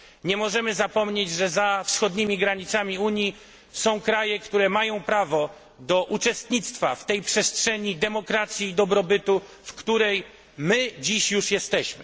Nie możemy zapomnieć, że za wschodnimi granicami Unii są kraje, które mają prawo do uczestnictwa w tej przestrzeni demokracji i dobrobytu, w której my już dzisiaj jesteśmy.